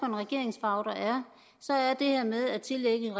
en regeringsfarve der er det her med at tillægge